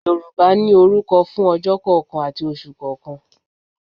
Yorùbá ní orúkọ fún ojọ́ kọ̀ọ̀kan àti oṣù kọ̀ọ̀kan